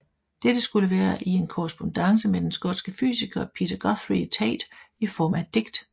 Dette skulle være i en korrespondance med den skotske fysiker Peter Guthrie Tait i form af et digt